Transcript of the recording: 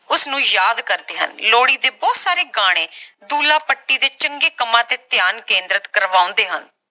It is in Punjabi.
ਉਸ ਨੂੰ ਯਾਦ ਕਰਦੇ ਹਨ ਲੋਹੜੀ ਦੇ ਬਹੁਤ ਸਾਰੇ ਗਾਣੇ ਦੁੱਲਾ ਭੱਟੀ ਦੇ ਚੰਗੇ ਕੰਮਾਂ ਤੇ ਧਿਆਨ ਕੇਂਦਰਿਤ ਕਰਵਾਉਂਦੇ ਹਨ